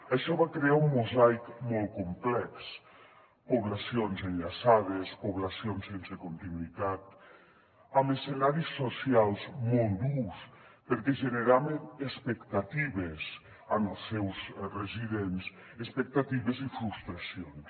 això va crear un mosaic molt complex poblacions enllaçades poblacions sense continuïtat amb escenaris socials molt durs perquè generaven expectatives als seus residents expectatives i frustracions